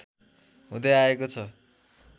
हुँदै आएको छ